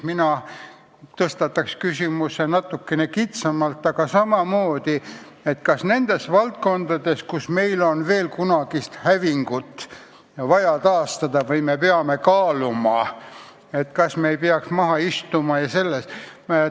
Mina tõstataks küsimuse natukene kitsamalt, aga samal teemal: kas nendes valdkondades, kus meil on veel kunagist hävingut vaja heaks teha, me ei peaks maha istuma ja seda arutama.